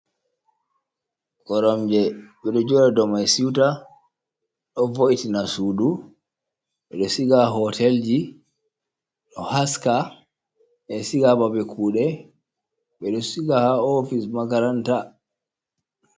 Koromje ɓeɗo joɗa ɗo mai siwta, ɗo voiti na sudu, ɓeɗo siga ha hotelji, ɗo haska ɓeɗo siga ha babe kude ɓeɗo siga ha ofice makaranta.